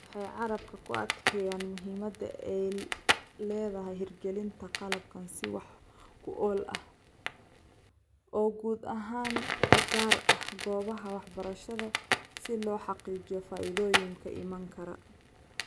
Waxay carrabka ku adkeeyaan muhiimadda ay leedahay hirgelinta qalabkan si wax ku ool ah, oo guud ahaan u gaar ah goobaha waxbarashada si loo xaqiijiyo faa'iidooyinka iman kara.